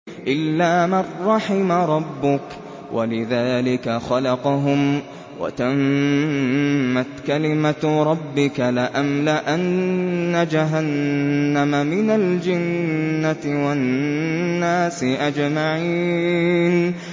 إِلَّا مَن رَّحِمَ رَبُّكَ ۚ وَلِذَٰلِكَ خَلَقَهُمْ ۗ وَتَمَّتْ كَلِمَةُ رَبِّكَ لَأَمْلَأَنَّ جَهَنَّمَ مِنَ الْجِنَّةِ وَالنَّاسِ أَجْمَعِينَ